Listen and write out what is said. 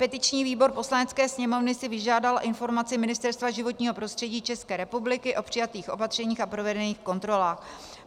Petiční výbor Poslanecké sněmovny si vyžádal informaci Ministerstva životního prostředí České republiky o přijatých opatřeních a provedených kontrolách.